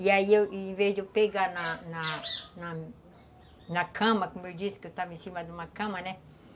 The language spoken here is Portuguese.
E aí, em vez de eu pegar na na cama, como eu disse que eu estava em cima de uma cama, né?